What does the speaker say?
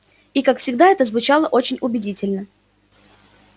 и как всегда это звучало очень убедительно